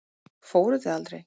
Fóruð þið aldrei?